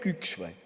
Või äkki üks?